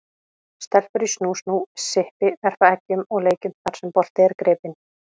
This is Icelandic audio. Stelpur í snú-snú, sippi, verpa eggjum og leikjum þar sem bolti er gripinn.